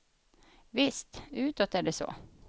Visst, utåt är det så.